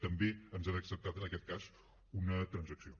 també ens han acceptat en aquest cas una transacció